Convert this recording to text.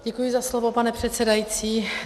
Děkuji za slovo, pane předsedající.